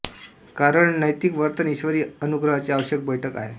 कारण नैतिक वर्तन ईश्वरी अनुग्रहाची आवश्यक बैठक आहे